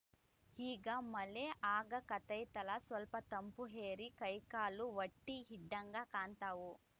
ಈಗ ಮಳೆ ಆಗಾಕತೈತಲಾ ಸ್ವಲ್ಪ ತಂಪು ಏರಿ ಕೈಕಾಲು ವಟ್ಟಿಹಿಡ್ದಂಗ ಕಾಣ್ತಾವು